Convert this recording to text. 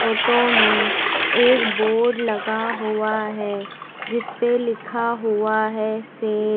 Photo में एक board लगा हुआ है जिसपे लिखा हुआ है सेल ।